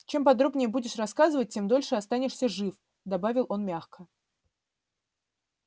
чем подробнее будешь рассказывать тем дольше останешься жив добавил он мягко